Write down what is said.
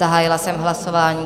Zahájila jsem hlasování.